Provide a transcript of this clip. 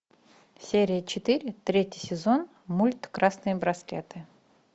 серия четыре третий сезон мульт красные браслеты